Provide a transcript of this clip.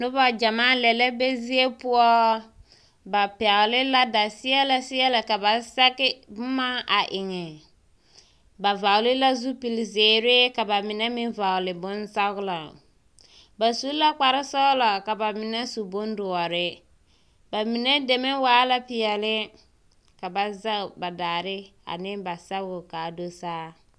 Noba gyamaa lԑ la be zie poͻ. Ba pԑgele la daseԑlԑseԑlԑ ka ba sԑge boma a eŋe. Ba vͻgele la zupili zeere ka ba mine meŋ vͻgele sͻgelͻ. Ba su la kpare sͻgelͻ ka ba mine meŋ su kpare dõͻre, ba mine deme waa peԑle ka ba zԑge ba daare ane ba sԑgoo ka a dosaa.